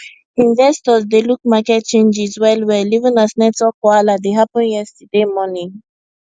investors dey look market changes wellwell even as network wahala dey happen yesterday morning